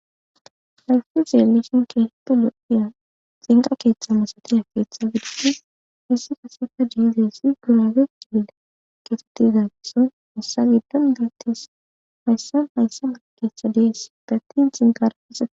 hayfti zeelishin keetettu lo7iya zinqa keeththa masatiya keeththa gidide hissi kaseka diizeessi gurage diila keetettizagisso hissa giddon biittis hayssa hayssa akeeththa dees bettin xinkarafsee